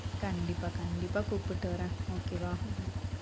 கண்டிப்பா கண்டிப்பா கூப்பிட்டு வர்றேன் okay வா